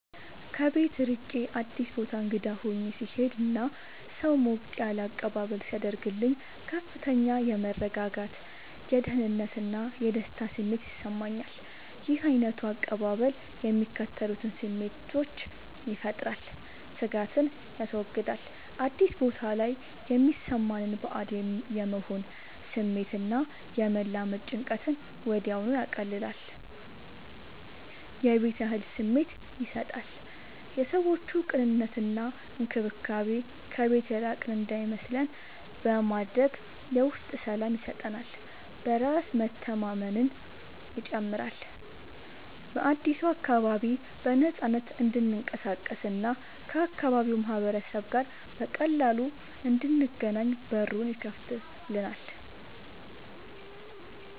ከቤት ርቄ አዲስ ቦታ እንግዳ ሆኜ ስሄድ እና ሰው ሞቅ ያለ አቀባበል ሲያደርግልኝ ከፍተኛ የመረጋጋት፣ የደህንነት እና የደስታ ስሜት ይሰማኛል። ይህ ዓይነቱ አቀባበል የሚከተሉትን ስሜቶች ይፈጥራል፦ ስጋትን ያስወግዳል፦ አዲስ ቦታ ላይ የሚሰማንን ባዕድ የመሆን ስሜት እና የመላመድ ጭንቀትን ወዲያውኑ ያቀልላል። የቤት ያህል ስሜት ይሰጣል፦ የሰዎቹ ቅንነት እና እንክብካቤ ከቤት የራቅን እንዳይመስለን በማድረግ የውስጥ ሰላም ይሰጠናል። በራስ መተማመንን ይጨምራል፦ በአዲሱ አካባቢ በነፃነት እንድንቀሳቀስ እና ከአካባቢው ማህበረሰብ ጋር በቀላሉ እንድንገናኝ በሩን ይከፍትልናል።